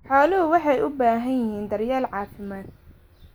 Xooluhu waxay u baahan yihiin daryeel caafimaad.